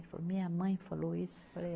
Ele falou, minha mãe falou isso? Falei é